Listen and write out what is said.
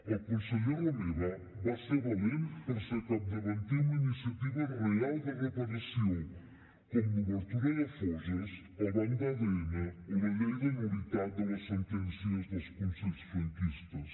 el conseller romeva va ser valent per ser capdavanter en la iniciativa real de reparació com l’obertura de foses el banc d’adn o la llei de nul·litat de les sentències dels consells franquistes